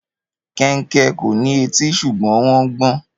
Kẹnkẹ kò ní etí ṣùgbọ́n wọn gbọn.